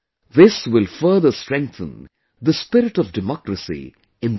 This will further strengthen the spirit of democracy in the country